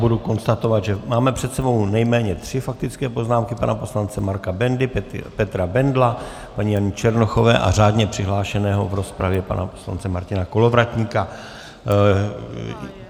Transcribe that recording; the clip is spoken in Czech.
Budu konstatovat, že máme před sebou nejméně tři faktické poznámky - pana poslance Marka Bendy, Petra Bendla, paní Jany Černochové a řádně přihlášeného v rozpravě pana poslance Martina Kolovratníka.